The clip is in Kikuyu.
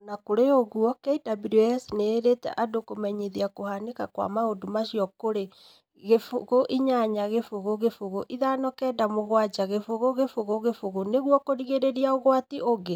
O na kũrĩ ũguo, KWS nĩ ĩĩrĩte andũ kũmenyithia kũhanĩka kwa maũndũ acio kũrĩ 0800597000 nĩguo kũrigĩrĩria ũgwati ũngĩ.